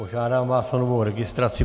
Požádám vás o novou registraci.